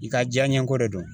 I ka diyaɲɛko de don.